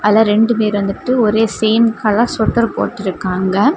அதுல ரெண்டு பேர் வந்துட்டு ஒரே சேம் கலர் ஸொட்டர் போட்டுருக்காங்க.